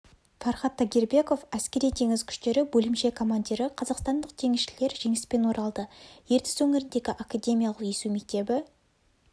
фархад тагирбеков әскери теңіз күштері бөлімше командирі қазақстандық теңізшілер жеңіспен оралды ертіс өңіріндегі академиялық есу мектебі